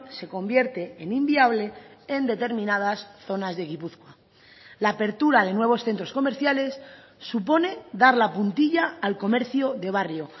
se convierte en inviable en determinadas zonas de gipuzkoa la apertura de nuevos centros comerciales supone dar la puntilla al comercio de barrio